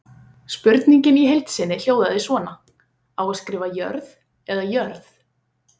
Spurningin í heild sinni hljóðaði svona: Á að skrifa Jörð eða jörð?